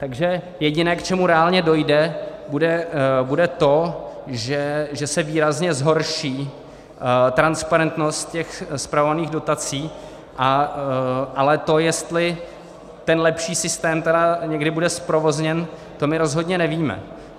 Takže jediné, k čemu reálně dojde, bude to, že se výrazně zhorší transparentnost těch spravovaných dotací, ale to, jestli ten lepší systém tedy někdy bude zprovozněn, to my rozhodně nevíme.